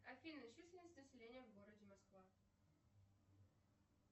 афина численность населения в городе москва